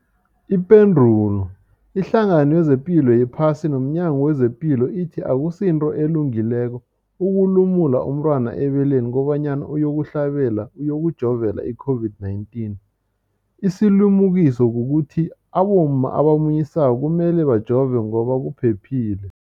Ipendulo, iHlangano yezePilo yePhasi nomNyango wezePilo ithi akusinto elungileko ukulumula umntwana ebeleni kobanyana uyokuhlabela, uyokujovela i-COVID-19. Isilimukiso kukuthi abomma abamunyisako kumele bajove ngoba kuphephile.